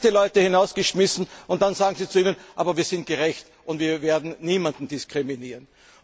Sie haben zuerst die Leute hinausgeschmissen, und dann sagen Sie Ihnen, wir sind gerecht und wir werden niemanden diskriminieren.